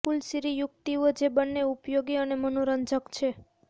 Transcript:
કૂલ Siri યુક્તિઓ જે બંને ઉપયોગી અને મનોરંજક છે